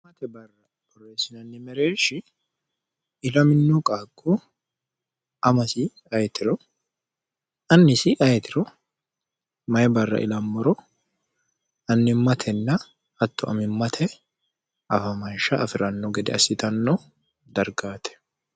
amaate barra pirofessinannimereershi ilaminoo qaaqko amasi ayetiro annisi ayetiro mayi barra ilammoro annimmatenna hatto amimmate afamansha afi'ranno gede assitanno dargaate